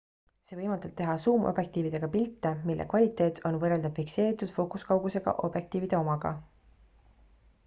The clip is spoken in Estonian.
see võimaldab teha suumobjektiividega pilte mille kvaliteet on võrreldav fikseeritud fookuskaugusega objektiivide omaga